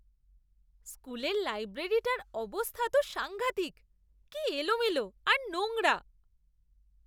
স্কুলের লাইব্রেরিটার অবস্থা তো সাঙ্ঘাতিক; কী এলোমেলো আর নোংরা।